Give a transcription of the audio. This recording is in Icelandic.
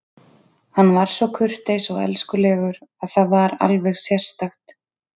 Hann var svo kurteis og elskulegur að það var alveg sérstakt.